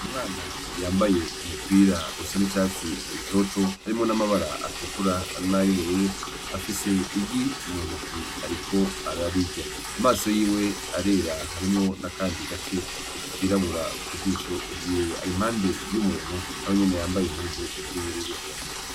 Umwana yambaye umupira usa n'icatsi gitoto harimwo n'amabara atukura nay'ubururu, afise igi mu ntoke ariko ararirya amaso yiwe arera harimwo n'akandi gace kirabura mu jisho ryiwe ari impande y'umuntu nawe nyene yambaye impuzu z'ubururu.